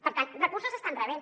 per tant recursos n’estan rebent